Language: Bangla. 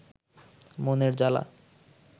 মনের জালা